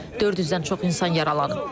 400-dən çox insan yaralanıb.